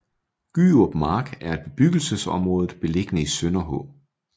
Gyrup Mark er et bebyggelsesområde beliggende i Sønderhå